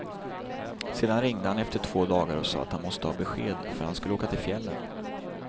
Sedan ringde han efter två dagar och sa att han måste ha besked, för han skulle åka till fjällen.